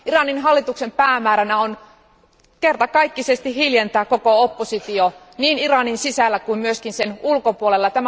Iranin hallituksen päämääränä on kertakaikkisesti hiljentää koko oppositio niin Iranin sisällä kuin sen ulkopuolella.